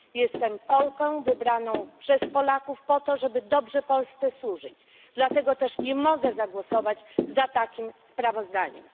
Jestem Polką, wybraną przez Polaków po to, żeby dobrze Polsce służyć, dlatego też nie mogę zagłosować za takim sprawozdaniem.